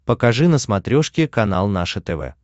покажи на смотрешке канал наше тв